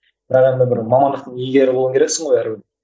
бірақ енді бір мамандықтың иегері болу керексің ғой